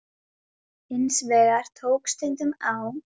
Hins vegar tók stundum á.